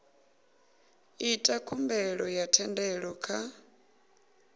ita khumbelo ya thendelo kha